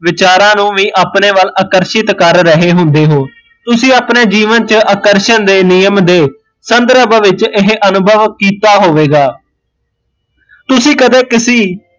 ਵਿਚਾਰਾਂ ਨੂੰ ਵੀ ਅਪਣੇ ਵੱਲ ਆਕਰਸ਼ਿਤ ਕਰ ਰਹੇ ਹੁੰਦੇ ਹੋ, ਤੁਸੀਂ ਅਪਣੇ ਜੀਵਨ ਚ ਆਕਰਸ਼ਣ ਦੇ ਨਿਯਮ ਦੇ ਸੰਦਰਵ ਵਿੱਚ ਇਹ ਅਨੁਭਵ ਕੀਤਾ ਹੋਵੇਗਾ, ਤੁਸੀਂ ਕਦੇ ਕਿਸੀ